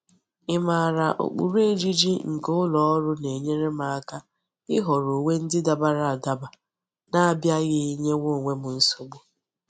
Imara ukpuru ejiji nke uloru na-enyere m aka ihoro uwe ndi dabara adaba n'abiaghi nyewa onwe m nsogbu.